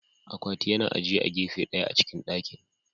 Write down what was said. Akwatin yana ajiye a gefe ɗaya a cikin dakin.